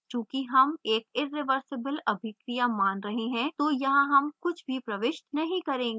चूँकि हम एक irreversible अभिक्रिया मान रहे हैं तो यहाँ हम कुछ भी प्रविष्ट नहीं करेंगे